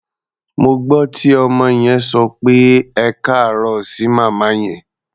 Mo gbọ́ tí ọmọ yẹn sọ pé "ẹkáàárọ̀" sí màmá yẹn.